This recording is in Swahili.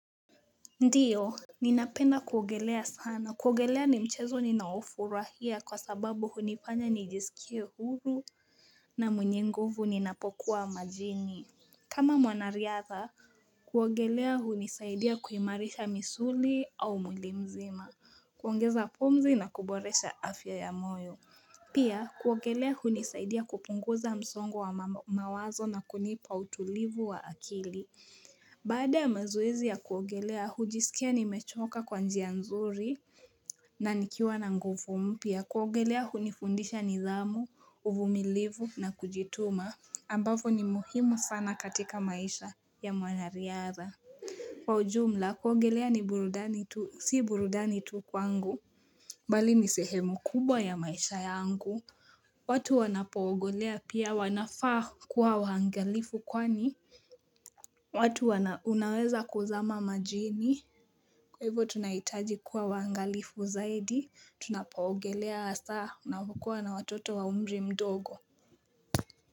Ndiyo Ninapenda kuoagelea sana kuoagelea ni mchezo ninaoufurahia kwa sababu hunifanya nijisikie huru na mwenye nguvu ninapokuwa majini kama mwanariatha kuoagelea hunisaidia kuimarisha misuli au mwilimzima Kuoangeza pumzi na kuboresha afya ya moyo Pia kuoagelea hunisaidia kupunguza msongo wa mawazo na kunipa utulivu wa akili Baada ya mazoezi ya kuogelea, hujisikia ni mechoka kwa njia nzuri na nikiwa na nguvu mpya, kuogelea hunifundisha nidhamu, uvumilivu na kujituma ambavo ni muhimu sana katika maisha ya mwanariadha Kwa ujumla, kuogelea ni burudani tu, si burudani tu kwangu Balini sehemu kubwa ya maisha yangu watu wanapogolea pia wanafaa kuwa waangalifu kwani watu wana unaweza kuzama majini. Kwa hivo tunahitaji kuwa waangalifu zaidi. Tunapaogelea hasa. Unavokuwa na watoto wa umri mdogo.